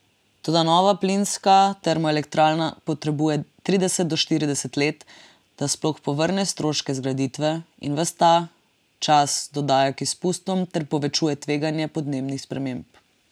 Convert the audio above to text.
Toda nova plinska termoelektrarna potrebuje trideset do štirideset let, da sploh povrne stroške zgraditve, in ves ta čas dodaja k izpustom ter povečuje tveganje podnebnih sprememb.